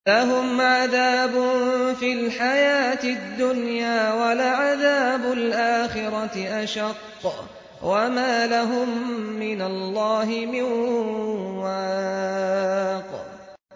لَّهُمْ عَذَابٌ فِي الْحَيَاةِ الدُّنْيَا ۖ وَلَعَذَابُ الْآخِرَةِ أَشَقُّ ۖ وَمَا لَهُم مِّنَ اللَّهِ مِن وَاقٍ